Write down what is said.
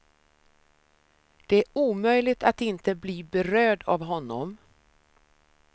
Det är omöjligt att inte bli berörd av honom.